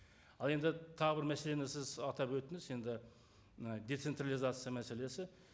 ал енді тағы бір мәселені сіз атап өттіңіз енді ы децентрализация мәселесі